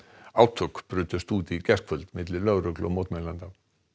átök brutust út í gærkvöld milli lögreglu og mótmælenda